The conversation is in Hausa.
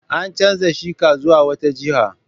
An canza sheka zuwa wata jiha.